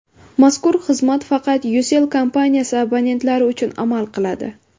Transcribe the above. Mazkur xizmat faqat Ucell kompaniyasi abonentlari uchun amal qiladi.